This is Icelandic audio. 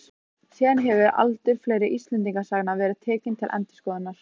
Síðan hefur aldur fleiri Íslendingasagna verið tekinn til endurskoðunar.